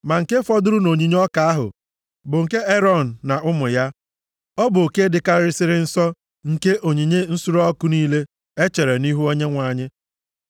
Ma nke fọdụrụ nʼonyinye ọka ahụ bụ nke Erọn na ụmụ ya. Ọ bụ oke dịkarịsịrị nsọ nke onyinye nsure ọkụ niile echere nʼihu Onyenwe anyị.